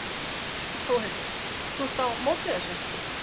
Þórhildur: Þú ert á móti þessu?